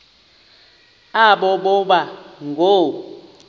aba boba ngoo